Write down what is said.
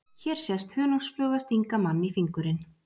Hér sést hunangsfluga stinga mann í fingurinn.